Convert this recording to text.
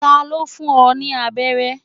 Ta ló fún ọ ní abẹ́rẹ́?